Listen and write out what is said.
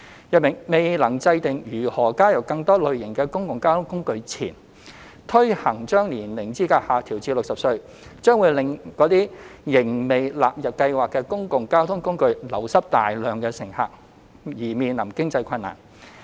如未能制訂如何加入更多類型的公共交通工具前，推行將年齡資格下調至60歲，將會令那些仍未納入優惠計劃的公共交通工具流失大量乘客，因而面臨經濟困難。